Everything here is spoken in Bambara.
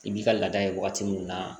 I b'i ka laada ye waati min na